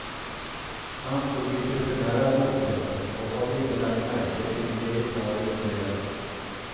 Han stod litet för nära brofästet och hade inte lagt märke till leoparden i trädet.